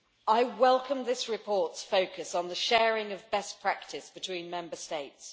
I welcome this report's focus on the sharing of best practice between Member States.